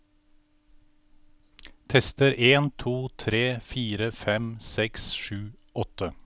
Tester en to tre fire fem seks sju åtte